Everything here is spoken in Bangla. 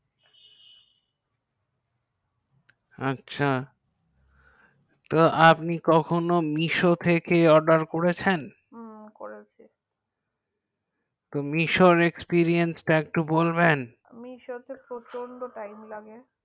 আচ্ছা তো আপনি কখনো misho থেকে order করেছেন হু করেছি misho তে প্রচন্ড time লাগে